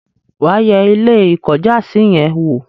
wà á yẹ Ilé-ìkọ́jàsí yẹn wò?